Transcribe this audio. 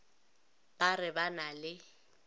ba re ba na le